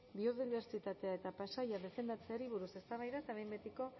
biodibertsitatea eta paisaia defendatzeari buruz eztabaida eta behin betiko